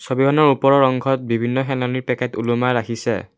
ছবিখনৰ ওপৰৰ অংশত বিভিন্ন খেনানিৰ পেকেট ওলোমাই ৰাখিছে।